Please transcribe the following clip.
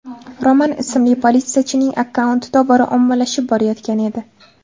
Roman ismli politsiyachining akkaunti tobora ommalashib borayotgan edi.